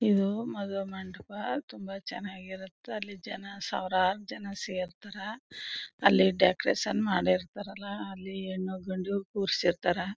ಇದು ಮದುವೆ ಮಂಟಪ ತುಂಬಾ ಚೆನ್ನಾಗಿರುತ್ತೆ. ಅಲ್ಲಿ ಜನ ಸಾವಿರಾರು ಜನ ಸೇರ್ತಾರಾ ಅಲ್ಲಿ ಡೆಕೋರೇಷನ್ ಮಾಡಿರ್ತರ್ ಅಲ ಅಲ್ಲಿ ಹೆಣ್ಣು-ಗಂಡು ಕೂರ್ಸಿರ್ತರ.